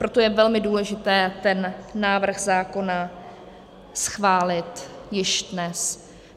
Proto je velmi důležité ten návrh zákona schválit již dnes.